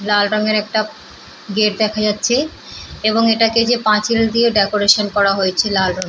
লাল রংয়ের একটা গেট দেখা যাচ্ছে এবং এটাকে যে পাঁচিল দিয়ে ডেকোরেশন করা হয়েছে লাল রঙে--